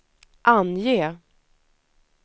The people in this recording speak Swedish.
ange